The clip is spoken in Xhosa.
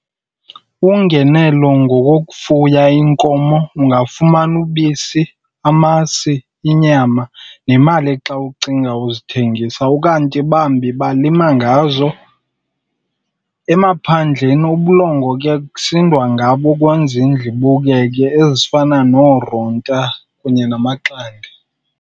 Ungenelo ngokokufuya iinkomo. Ungafumana ubisi, amasi, inyama nemali xa ucinga uzithengisa. Ukanti bambi balima ngazo. Emaphandleni ubulongwe ke kusindwa ngabo kwezindlu ibukeke, ezifana nooronta kunye namaxande.